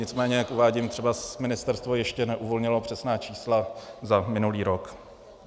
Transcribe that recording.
Nicméně jak uvádím, třeba ministerstvo ještě neuvolnilo přesná čísla za minulý rok.